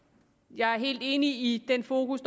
jeg er helt enig i det fokus